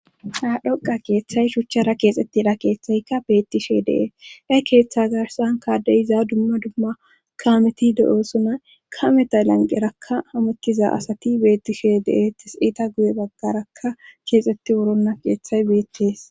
ha dhoqa keeththay shuchchara keexettidha keeththaykka beettishe dee e keeththa garsan kaaddeyiza dumma dumma kaameti de7oosona kameta lanqerakka hamettiza asati beettishe de'es ista guye baggaraka keexetti wuronna keeththay beettees